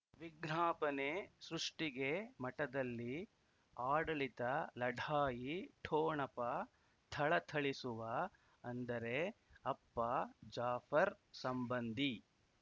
ವಿಜ್ಞಾಪನೆ ಸೃಷ್ಟಿಗೆ ಮಠದಲ್ಲಿ ಆಡಳಿತ ಲಢಾಯಿ ಠೊಣಪ ಥಳಥಳಿಸುವ ಅಂದರೆ ಅಪ್ಪ ಜಾಫರ್ ಸಂಬಂಧಿ